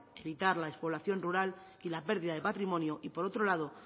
evitar la despoblación rural y la pérdida de patrimonio y por otro lado